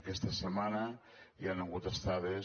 aquesta setmana hi han hagut estades